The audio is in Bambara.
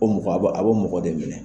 O mɔgɔ a bo a bo mɔgɔ de minɛ.